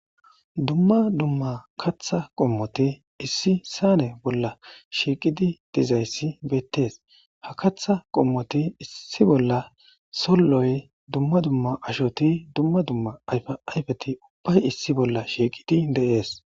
Dumma dumma kaththa qommoti issi saane bolla shiqqidi diizayissi bettes ha kaththa qommoti issi bolla solloy dumma dumma ashoti dumma dumma ayfa ayfeti ubbay issi bolla shiqqidi de'es.